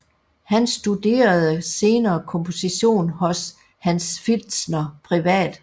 Han studerede senere komposition hos Hans Pfitzner privat